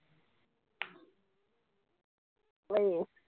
ਆਏ